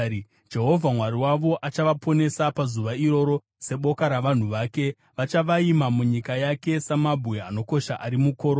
Jehovha Mwari wavo achavaponesa pazuva iroro seboka ravanhu vake, Vachavaima munyika yake samabwe anokosha ari mukorona.